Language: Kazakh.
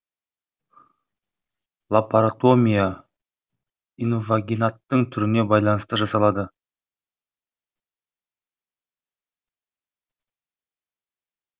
лапаротомия инвагинаттың түріне байланысты жасалады